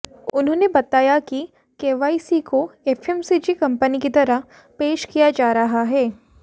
उन्होंने बतायाकि केवीआईसी कोएफएमसीजी कंपनी की तरह पेश किया जा रहा है